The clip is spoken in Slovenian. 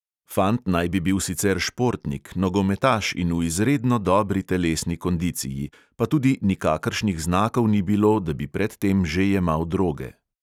Fant naj bi bil sicer športnik, nogometaš in v izredno dobri telesni kondiciji, pa tudi nikakršnih znakov ni bilo, da bi pred tem že jemal droge.